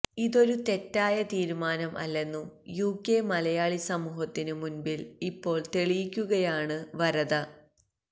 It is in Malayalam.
ഇതൊരു തെറ്റായ തീരുമാനം അല്ലെന്നു യുകെ മലയാളി സമൂഹത്തിനു മുന്പില് ഇപ്പോള് തെളിയിക്കുകയാണ് വരദ